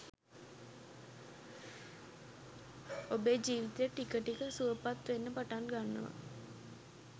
ඔබේ ජීවිතය ටික ටික සුවපත් වෙන්න පටන් ගන්නවා.